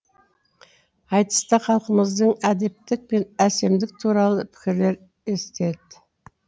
айтыста халқымыздың әдептік пен әсемдік туралы пікірлері эстет